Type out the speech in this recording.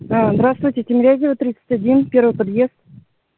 здравствуйте тимирязева тридцать один первый подъезд